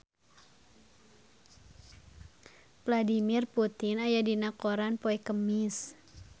Vladimir Putin aya dina koran poe Kemis